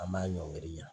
An b'a ɲɔiri ɲa